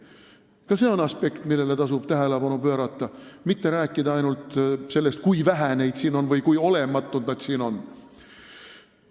Ka see on aspekt, millele tuleb tähelepanu pöörata, mitte rääkida ainult sellest, kui vähe neid siin on või kui olematud nad siin on.